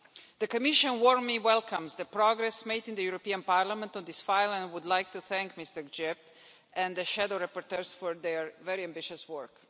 The Commission warmly welcomes the progress made in the European Parliament on this file and would like to thank Mr Grzyb and the shadow rapporteurs for their very ambitious work.